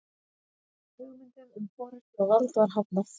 Hugmyndum um forystu og vald var hafnað.